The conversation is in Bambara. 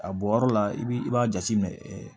A bɔ yɔrɔ la i b'i b'a jateminɛ